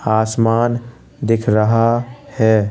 आसमान दिख रहा है।